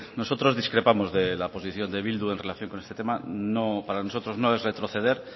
nosotros discrepamos de la posición de bildu en relación con este tema para nosotros no es retroceder